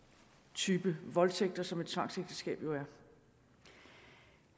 type voldtægter som et tvangsægteskab jo